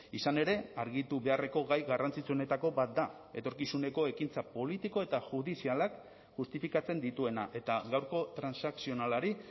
izan ere argitu beharreko gai garrantzitsuenetako bat da etorkizuneko ekintza politiko eta judizialak justifikatzen dituena eta gaurko transakzionalari